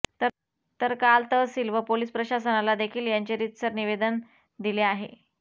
तर काल तहसिल व पोलीस प्रशासनाला देखील यांचे रितसर निवेदन दिले आहे